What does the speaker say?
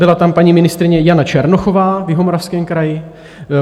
Byla tam paní ministryně Jana Černochová v Jihomoravském kraji.